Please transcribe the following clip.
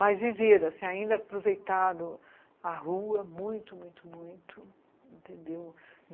Mas viveram, assim, ainda aproveitaram a rua muito, muito, muito, entendeu?